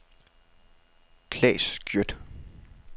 Claes Schjødt